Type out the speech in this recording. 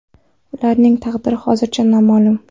Ularning taqdiri hozircha noma’lum.